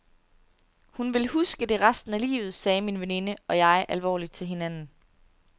Hun vil huske det resten af livet, sagde min veninde og jeg alvorligt til hinanden.